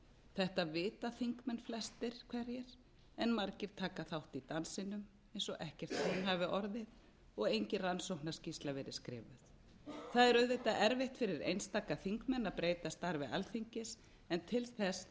þetta vita þingmenn flestir hverjir en margir taka þátt í dansinum eins og ekkert hrun hafi orðið og engin rannsóknarskýrsla verið skrifuð það er auðvitað erfitt fyrir einstaka þingmenn að breyta starfi alþingis en til þess þarf